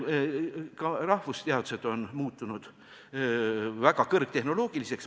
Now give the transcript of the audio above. Ka rahvusteadused on muutunud väga kõrgtehnoloogiliseks.